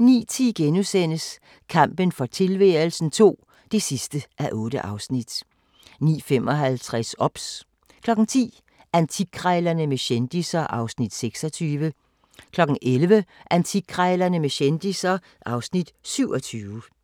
09:10: Kampen for tilværelsen II (8:8)* 09:55: OBS 10:00: Antikkrejlerne med kendisser (Afs. 26) 11:00: Antikkrejlerne med kendisser (Afs. 27)